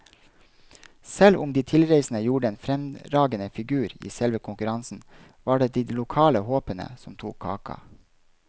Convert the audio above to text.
Selv om de tilreisende gjorde en fremragende figur i selve konkurransen, var det de lokale håpene som tok kaka.